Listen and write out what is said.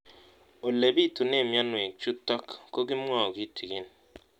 Ole pitune mionwek chutok ko kimwau kitig'�n